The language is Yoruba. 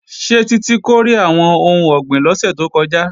Ṣé Títí kórè àwọn ohun ọ̀gbìn lọ́sẹ̀ tó kọjá?